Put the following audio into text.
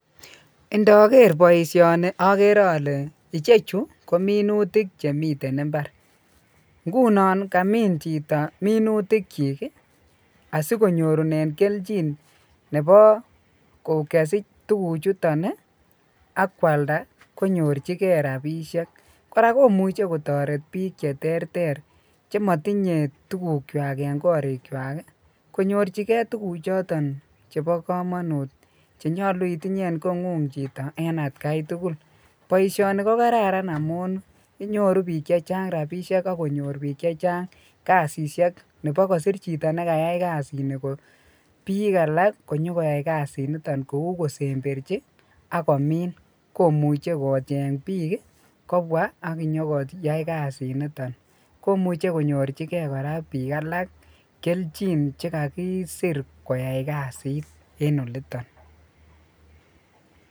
Indoker baishoni agere ale ichechu kominutik Chemiten imbar ngunon ngamin Chito minutik chik asikonyorunen keljin Nebo kesich tuguk chuton AK kwalda konyorchigei rabishek koraa komuche kotaretin AK bik cheterter chematinye tuguk chwak en korik chwak konyorchigei tuguk choton Cheba kamanut chenyolu itinye en kongung Chito en atkai tugul , baishoni niton kokararan amun nyoru bik chechang rabishek akonyorbbik chechang kasishek Nebo kosir Chito nekayai kasit niton kosemberchi ako min komuche kocheng bik kobwa akonyo kocheng koyai kasit niton komuche konyorchigei koraa bik alak keljin chekakisir koyai kasit en olotin